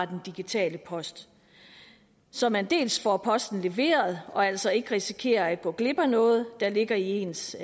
den digitale post så man dels får posten leveret og altså ikke risikerer at gå glip af noget der ligger i ens